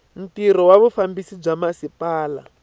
ntirho wa vufambisi bya masipala